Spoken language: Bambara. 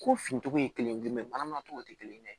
Ko fincogo ye kelen ye bana mun togo tɛ kelen ye dɛ